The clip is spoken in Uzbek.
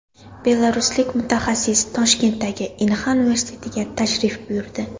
Belaruslik mutaxassis Toshkentdagi Inha universitetiga tashrif buyurdi.